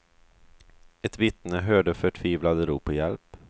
Ett vittne hörde förtvivlade rop på hjälp.